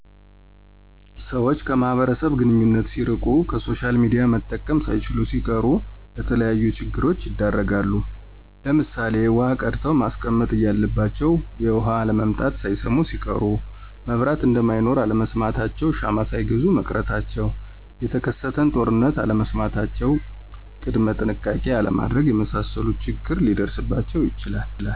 ሰወች ከማህበረሰቡ ግንኙነት ሲርቂ፣ ከሶሻልሚዲያ መጠቀም ሳይችሉሲቀሩ ለተለያዩ ችግሮች ይዳረጋሉ ለምሳሌ ዉሀቀድተዉመስቀመጥ እያለባቸዉ የዉሀአለምጣትን ሳይሰሙሲቀሩ፣ መብራት እነደማይኖር አለመስማታቸዉ ሻማሳይገዙ መቅረታቸዉ፣ የተከሰተንጦርነት አለመስማታቸዉ ቅድመጥንሸቃቄ አለማድረግ የመሳሰሉት ችግር ሊደርስባቸዉ ይችላል።